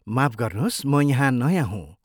माफ गर्नुहोस्, म यहाँ नयाँ हुँ।